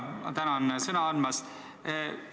Ma tänan sõna andmast!